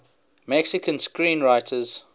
mexican screenwriters